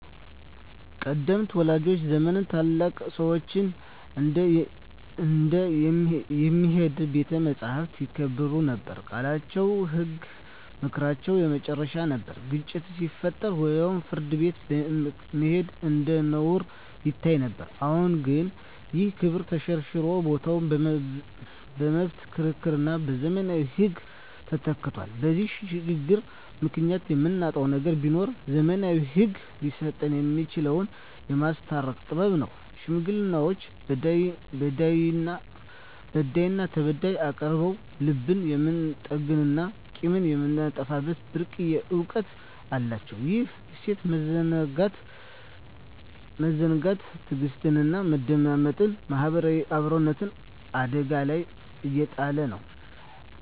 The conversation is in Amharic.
ቀደምት ወላጆቻችን ዘመን ታላላቅ ሰዎች እንደ "የሚሄድ ቤተ መጻሕፍት" ይከበሩ ነበር፤ ቃላቸው ህግ፣ ምክራቸው የመጨረሻ ነበር። ግጭት ሲፈጠር ወደ ፍርድ ቤት መሄድ እንደ ነውር ይታይ ነበር። አሁን ግን ይህ ክብር ተሸርሽሮ ቦታው በመብት ክርክርና በዘመናዊ ህግ ተተክቷል። በዚህ ሽግግር ምክንያት የምናጣው ነገር ቢኖር፣ ዘመናዊው ህግ ሊሰጠን የማይችለውን "የማስታረቅ ጥበብ" ነው። ሽማግሌዎች በዳይና ተበዳይን አቀራርበው ልብን የመጠገንና ቂምን የማጥፋት ብርቅዬ እውቀት አላቸው። ይህን እሴት መዘንጋት ትዕግስትን፣ መደማመጥንና ማህበራዊ አብሮነትን አደጋ ላይ እየጣለ ነው።